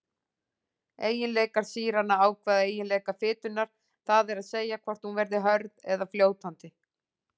Eiginleikar sýranna ákveða eiginleika fitunnar, það er að segja hvort hún verði hörð eða fljótandi.